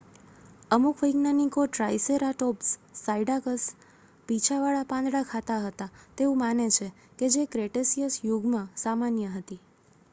અમુક વૈજ્ઞાનિકો triceratops cycads પીંછાવાળા પાંદડા ખાતા હતા તેવું માને છે કે જે ક્રેટેસીયસ યુગમાં સામાન્ય હતી